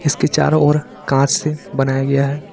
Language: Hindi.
इसके चारों ओर कांच से बनाया गया है।